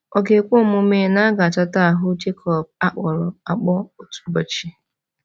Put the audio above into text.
Ọ ga-ekwe omume na a ga-achọta ahụ Jacob a kpọrọ akpọ otu ụbọchị?